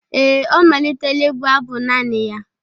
Ee, ọ malitela ịbụ abụ naanị ya